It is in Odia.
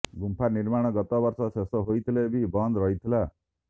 ଗୁମ୍ଫା ନିର୍ମାଣ ଗତ ବର୍ଷ ଶେଷ ହୋଇଥିଲେ ବି ବନ୍ଦ ରହିଥିଲା